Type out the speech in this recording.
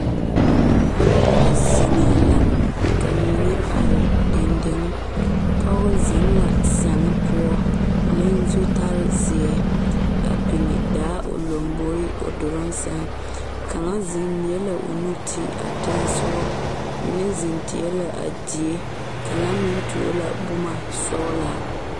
Noba zeŋee la ka mine are dendeŋe pɔge zeŋ la sege poɔ le zutare zeɛ ka biŋ daa o lamboriŋ o duluŋ sege kaŋ zeŋ leɛ o nu ti a teŋa soɔ mine zeŋ tie la a die ka meŋ tuo la boma sɔgelaa